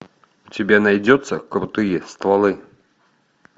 у тебя найдется крутые стволы